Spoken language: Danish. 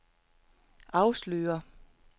afslører